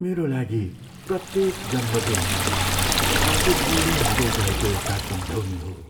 मेरा लागि प्रत्येक जन्मदिन आफू बुढो हुँदै गएको एउटा सम्झउनी हो।